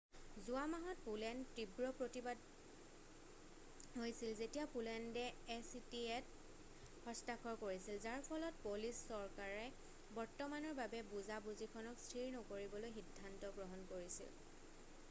যোৱা মাহত পোলেণ্ড তীব্ৰ প্ৰতিবাদ হৈছিল যেতিয়া পোলেণ্ডে এ চি টি এত হস্তাক্ষৰ কৰিছিল যাৰ ফলত পলিছ চৰকাৰে বৰ্তমানৰ বাবে বুজা বুজিখনক স্থিৰ নকৰিবলৈ সিদ্ধান্ত গ্ৰহণ কৰিছিল